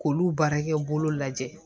K'olu baarakɛ bolo lajɛ